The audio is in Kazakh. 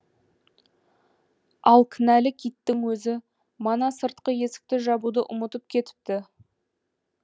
ал кінәлі киттің өзі мана сыртқы есікті жабуды ұмытып кетіпті